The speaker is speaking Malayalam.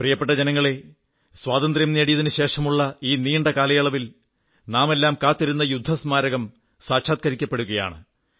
പ്രിയപ്പെട്ട ജനങ്ങളേ സ്വാതന്ത്ര്യം നേടിയശേഷമുള്ള ഈ നീണ്ട കാലയളവിൽ നാമെല്ലാം കാത്തിരുന്ന യുദ്ധസ്മാരകം സാക്ഷാത്കരിക്കപ്പെടുകയാണ്